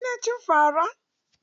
Kina cin fa ra?